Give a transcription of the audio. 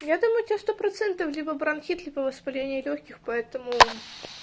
я думаю у тебя сто процентов либо бронхит либо воспаление лёгких поэтому